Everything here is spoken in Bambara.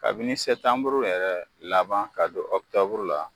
Kabini sɛtanburu yɛrɛ laban ka don ɔkutɔburu la